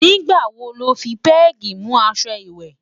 nígbà wò ló fí pegi mú aṣọ ìwé?